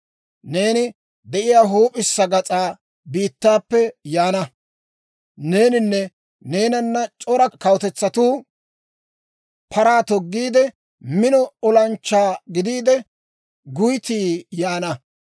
Neeni de'iyaa huup'issa gas'aa biittaappe yaana. Neeninne neenana c'ora kawutetsatuu paraa toggiide, mino olanchchaa gidiide, guyttii yaana.